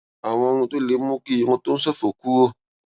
àwọn ohun tó lè mú kí irun tó ń ṣòfò kúrò